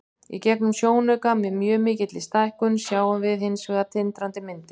Í gegnum sjónauka, með mjög mikilli stækkun, sjáum við hins vegar tindrandi myndir.